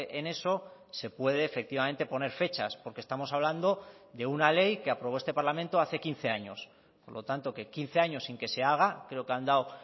en eso se puede efectivamente poner fechas porque estamos hablando de una ley que aprobó este parlamento hace quince años por lo tanto que quince años sin que se haga creo que han dado